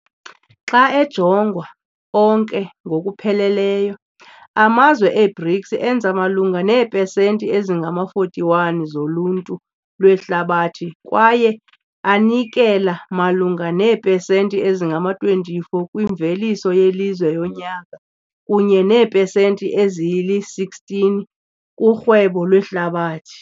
Xa ejongwa onke ngokupheleleyo, amazwe e-BRICS enza malunga neepesenti ezingama-41 zoluntu lwehlabathi kwaye anikela malunga neepesenti ezingama-24 kwimveliso yelizwe yonyaka kunye neepesenti ezili-16 kurhwebo lwehlabathi.